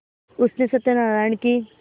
उसने सत्यनाराण की